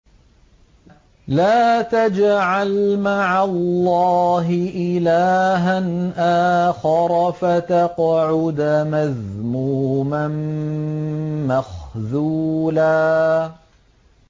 لَّا تَجْعَلْ مَعَ اللَّهِ إِلَٰهًا آخَرَ فَتَقْعُدَ مَذْمُومًا مَّخْذُولًا